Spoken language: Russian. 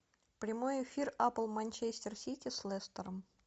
прямой эфир апл манчестер сити с лестером